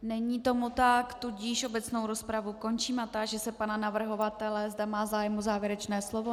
Není tomu tak, tudíž obecnou rozpravu končím a táži se pana navrhovatele, zda má zájem o závěrečné slovo.